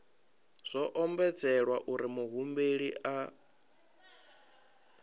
zwo ombedzelwa uri muhumbeli a